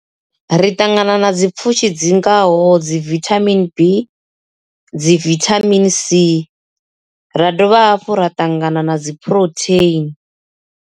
Ri ṱangana na dzi pfushi dzi ngaho dzi vithamini B dzi vithamini C ra dovha hafhu ra ṱangana na dzi phurotheini.